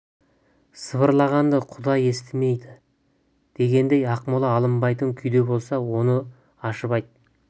сыбырлағанды құдай естімей ме дегендей ақмола алынбайтын күйде болса оны ашып айт